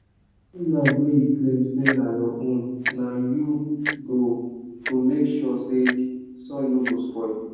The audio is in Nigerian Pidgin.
any land wey you claim say na your own na you go go make sure say soil no go spoil.